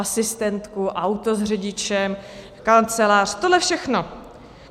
Asistentku, auto s řidičem, kancelář, tohle všechno.